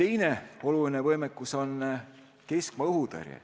Teine oluline võimekus on keskmaa-õhutõrje.